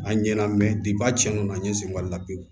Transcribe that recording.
An ɲɛna mɛ a cɛ donna n ɲe sen ka la pewu